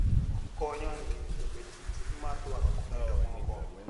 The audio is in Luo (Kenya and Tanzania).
Okonyo e miyo ji obed gi chuny mar dwaro konyo jomoko.